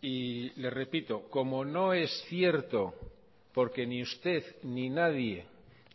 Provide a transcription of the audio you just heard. y le repito como no es cierto porque ni usted ni nadie